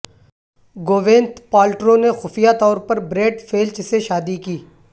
Gwyneth Paltrow نے خفیہ طور پر بریڈ فیلچ سے شادی کی